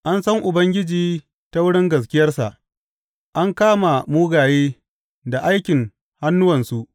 An san Ubangiji ta wurin gaskiyarsa; an kama mugaye da aikin hannuwansu.